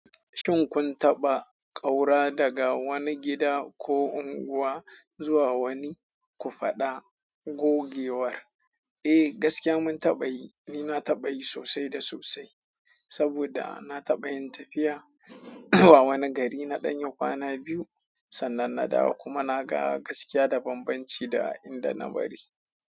Shin kun taba kaura daga wani gida ko anguwa ku fada gogewar. Eh, gaskiya mun taɓa yi. Ni na taɓa yi sosai da sosai. Saboda na taɓa yin tafiya zuwa waani gari na ɗanyi kwana biyu. Sannan na dawo kuma na ga gaskiya da banbanci da inda na bari.